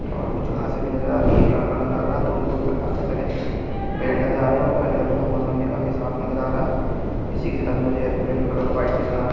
और कुछ घासे भी नज़र आ रही है एक लड़का नज़र आ रहा है दूर-दूर तक काफी सारे पेड़ नज़र आ रहे है और मौसम भी काफी साफ नज़र आ रहा है इसी के साथ मुझे एयरोप्लेन का कलर व्हाइट नज़र आ रहा --।